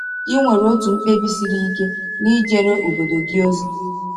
Ị nwere otu mkpebi siri ike n’ijere obodo gị ozi?